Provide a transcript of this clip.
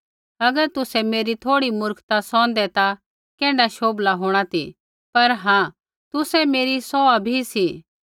अगर तुसै मेरी थोड़ी मुर्खता सौहंदै ता कैण्ढा शोभला होंणा ती पर हाँ तुसै मेरी सौहा भी सी